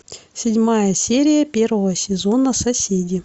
седьмая серия первого сезона соседи